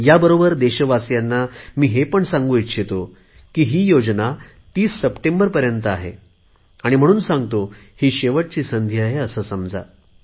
ह्याबरोबर देशवासीयांना हे पण सांगू इच्छितो की ही योजना 30 सप्टेंबरपर्यंत आहे म्हणून सांगतो ही शेवटची संधी आहे असे समजा